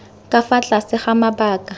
ka fa tlase ga mabaka